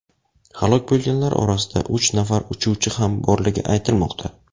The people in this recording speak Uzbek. Halok bo‘lganlar orasida uch nafar uchuvchi ham borligi aytilmoqda.